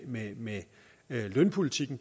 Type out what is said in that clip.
med med lønpolitikken